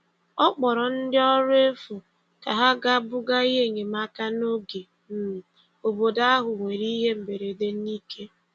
Ọ kpọrọ ndị ọrụ efu ka ha ga buga ihe enyemaka n'oge um obodo ahụ nwere ihe mberede n'ike.